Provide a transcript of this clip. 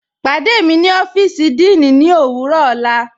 Pàdé mí ni ọ́fíìsì díìní ní owurọ ọla.